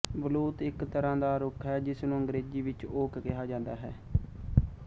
ਬਲੂਤ ਇੱਕ ਤਰ੍ਹਾਂ ਦਾ ਰੁੱਖ ਹੈ ਜਿਸ ਨੂੰ ਅੰਗਰੇਜ਼ੀ ਵਿੱਚ ਓਕ ਕਿਹਾ ਜਾਂਦਾ ਹੈ